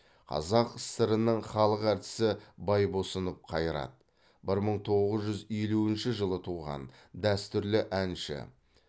қазақ сср інің халық әртісі байбосынов қайрат бір мың тоғыз жүз елуінші жылы туған дәстүрлі әнші